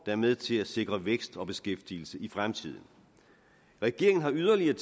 er med til at sikre vækst og beskæftigelse i fremtiden regeringen har yderligere